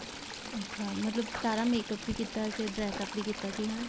ਅੱਛਾ ਮਤਲਬ ਸਾਰਾ makeup ਵੀ ਕੀਤਾ ਸੀ dress up ਵੀ ਕੀਤਾ ਸੀ ਹਨਾ